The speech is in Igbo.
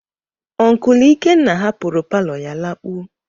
Onkul Ikenna hapụrụ palo ya lakpuo.